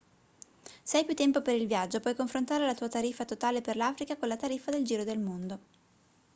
se hai più tempo per il viaggio puoi confrontare la tua tariffa totale per l'africa con la tariffa del giro del mondo